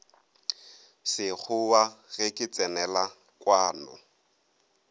sekgowa ge ke tsenela kwano